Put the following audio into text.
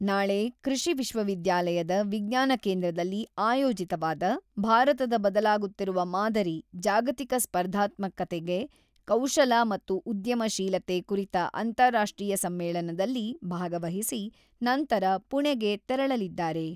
ನಾಳೆ ಕೃಷಿ ವಿಶ್ವವಿದ್ಯಾಲಯದ ವಿಜ್ಞಾನ ಕೇಂದ್ರದಲ್ಲಿ ಆಯೋಜಿತವಾದ, ಭಾರತದ ಬದಲಾಗುತ್ತಿರುವ ಮಾದರಿ: ಜಾಗತಿಕ ಸ್ಪರ್ಧಾತ್ಮಕತೆಗೆ ಕೌಶಲ ಮತ್ತು ಉದ್ಯಮ ಶೀಲತೆ 'ಕುರಿತ ಅಂತಾರಾಷ್ಟ್ರೀಯ ಸಮ್ಮೇಳನದಲ್ಲಿ ಭಾಗವಹಿಸಿ, ನಂತರ ಪುಣೆಗೆ ತೆರಳಲಿದ್ದಾರೆ.